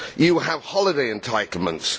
We have holiday entitlements.